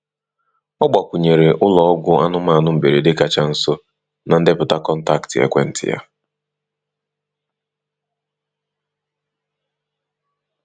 Ọ gbakwunyere ụlọ ọgwụ anụmanụ mberede kacha nso na ndepụta kọntaktị ekwentị ya.